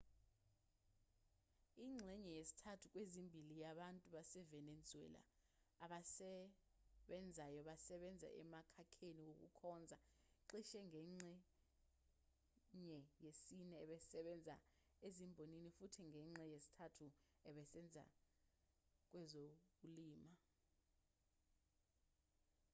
ingxenye yesithathu kwezimbili yabantu basevenezuela abasebenzayo basebenza emkhakheni wokukhonza cishe ingxenye yesine isebenza ezimbonini futhi ingxenye yesithathu isebenza kwezokulima